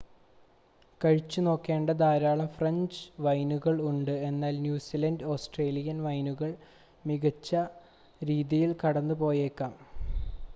കഴിച്ചുനോക്കേണ്ട ധാരാളം ഫ്രഞ്ച് വൈനുകൾ ഉണ്ട് എന്നാൽ ന്യൂസിലാൻഡ് ഓസ്‌ട്രേലിയൻ വൈനുകൾ മികച്ച രീതിയിൽ കടന്നുപോയേക്കാം